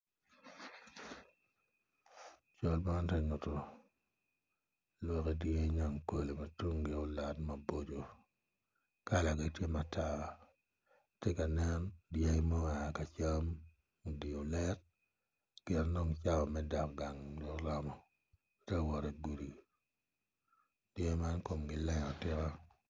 Cal ma tye nyuto lwakki dyangi nyankole ma tungi olot maboco mada kalagi tye matar tye ka nen dyangi ma gua ka cam odye olet pien dong cawa me dok gang dong oromo tye awot igudi dyangi man komgi leng atika.